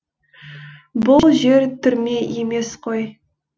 бұл жер түрме емес қой